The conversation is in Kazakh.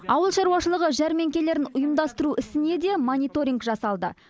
ауыл шаруашылығы жәрмеңкелерін ұйымдастыру ісіне де мониторинг жасалды